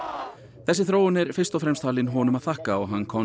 þessi þróun er fyrst og fremst talin honum að þakka og hann komst